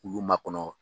K'ulu makɔnɔ